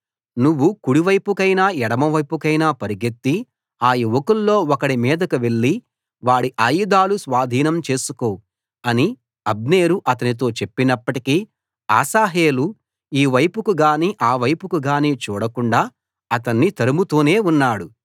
నువ్వు కుడి వైపుకైనా ఎడమ వైపుకైనా పరుగెత్తి ఆ యువకుల్లో ఒకడి మీదకు వెళ్లి వాడి ఆయుధాలు స్వాధీనం చేసుకో అని అబ్నేరు అతనితో చెప్పినప్పటికీ అశాహేలు ఈ వైపుకు గానీ ఆ వైపుకు గానీ చూడకుండా అతణ్ణి తరుముతూనే ఉన్నాడు